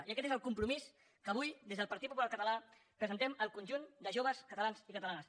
i aquest és el compromís que avui des del partit popular català presentem al conjunt de joves catalans i catalanes